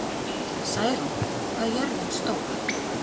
Snærún, hvað er jörðin stór?